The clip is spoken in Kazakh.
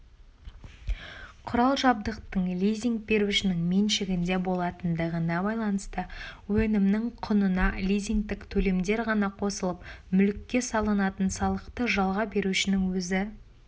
құрал-жабдықтың лизинг берушінің меншігінде болатындығына байланысты өнімнің құнына лизингтік төлемдер ғана қосылып мүлікке салынатын салықты жалға берушінің өзі